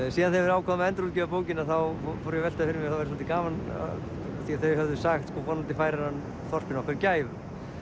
síðan þegar við ákváðum að endurútgefa bókina fór ég að velta því fyrir það væri svolítið gaman því þau höfðu sagt vonandi færir hann þorpinu okkar gæfu